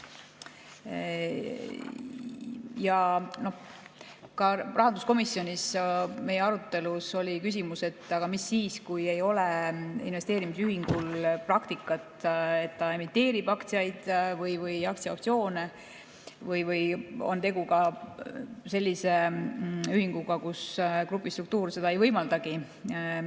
Ka rahanduskomisjonis oli meil arutelu all küsimus, et aga mis siis, kui investeerimisühingul ei ole praktikat, et ta emiteerib aktsiaid või aktsiaoptsioone, või on tegu sellise ühinguga, kus grupi struktuur seda ei võimaldagi.